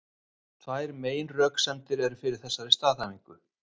Tvær meginröksemdir eru fyrir þessari staðhæfingu.